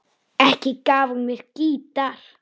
Ekki gaf hún mér gítar.